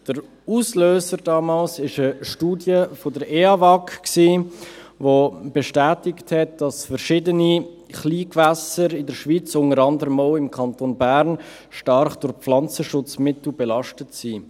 Der Auslöser damals war eine Studie der Eidgenössischen Anstalt für Wasserversorgung, Abwasserreinigung und Gewässerschutz (EAWAG), die bestätigt hat, dass verschiedene Kleingewässer in der Schweiz, unter anderem auch im Kanton Bern, stark durch Pflanzenschutzmittel belastet sind.